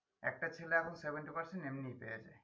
একটা ছেলে এখন seventy percent এমনি পেয়েছে